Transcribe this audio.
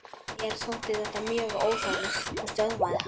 Mér þótti þetta mjög óþægilegt og stöðvaði hann.